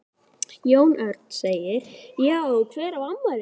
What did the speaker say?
Jón Örn: Já hver á afmæli?